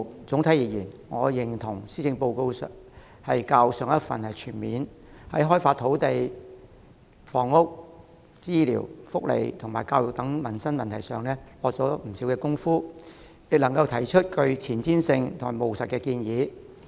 整體而言，我認同這份施政報告較上一份全面，在開發土地、房屋、醫療、福利及教育等民生問題上下了不少工夫，亦能提出具前瞻性和務實的建議。